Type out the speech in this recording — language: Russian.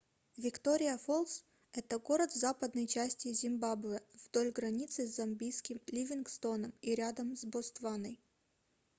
виктория-фолс это город в западной части зимбабве вдоль границы с замбийским ливингстоном и рядом с ботсваной